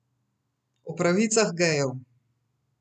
O pravicah gejev.